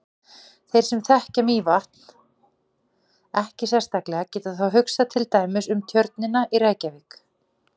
Þeir sem þekkja Mývatn ekki sérstaklega geta þá hugsað til dæmis um Tjörnina í Reykjavík.